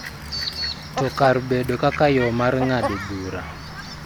To kar bedo kaka yo mar ng�ado bura .